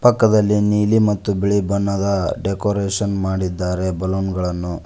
ಪಕ್ಕದಲ್ಲಿ ನೀಲಿ ಮತ್ತು ಬಿಳಿ ಬಣ್ಣದ ಡೆಕೋರೇಷನ್ ಮಾಡಿದ್ದಾರೆ ಬಲೂನ್ ಗಳನ್ನು.